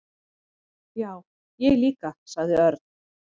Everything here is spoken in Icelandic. """Já, ég líka sagði Örn."""